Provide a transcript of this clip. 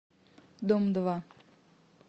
дом два